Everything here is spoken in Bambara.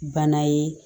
Bana ye